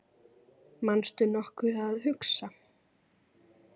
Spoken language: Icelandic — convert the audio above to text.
manstu nokkuð að hugsa